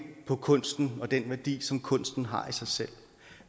på kunsten og den værdi som kunsten har i sig selv